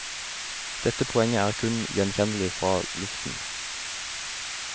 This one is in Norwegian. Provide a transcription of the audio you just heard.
Dette poenget er kun gjenkjennelig fra luften.